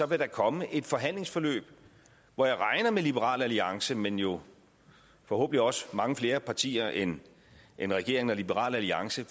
vil komme et forhandlingsforløb hvor jeg regner med liberal alliance men jo forhåbentlig også mange flere partier end end regeringen og liberal alliance